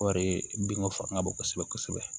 O de ye binko fanga bon kosɛbɛ kosɛbɛ